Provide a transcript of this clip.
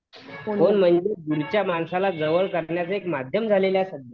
phone हे दूरच्या माणसाला जवळ करण्याचं एक माध्यम झालेलं आहे सध्या